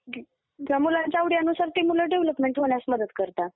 त्या मुलांच्या आवडीनुसार ते मुलांची डेव्हलपमेंट होण्यास मदत करतात